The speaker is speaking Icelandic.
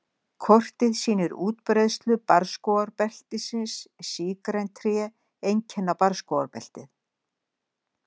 Kortið sýnir útbreiðslu barrskógabeltisins Sígræn tré einkenna barrskógabeltið.